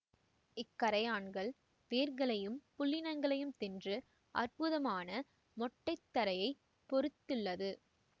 இக்கறையான்கள் வேர்களையும் புல்லினங்களையும் தின்று அற்புதமான மொட்டை தரையை பொறித்துள்ளது